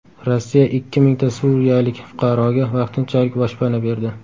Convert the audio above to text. Rossiya ikki mingta suriyalik fuqaroga vaqtinchalik boshpana berdi.